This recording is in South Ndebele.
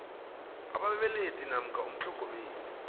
ababelethi namkha umtlhogomeli